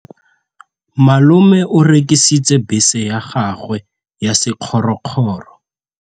Malome o rekisitse bese ya gagwe ya sekgorokgoro.